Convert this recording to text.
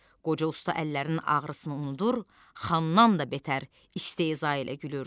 Qoca usta əllərinin ağrısını unudur, xandan da betər istehza ilə gülür.